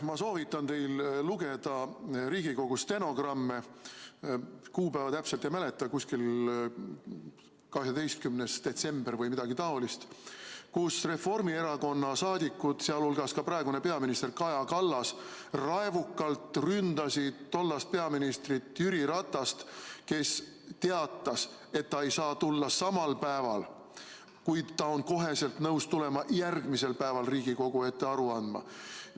Ma soovitan teil lugeda Riigikogu stenogramme, kuupäeva täpselt ei mäleta, kuskil 12. detsember või midagi taolist, kui Reformierakonna saadikud, sh praegune peaminister Kaja Kallas, raevukalt ründasid tollast peaministrit Jüri Ratast, kes teatas, et ta ei saa tulla samal päeval, kuid ta on kohe nõus tulema järgmisel päeval Riigikogu ette aru andma.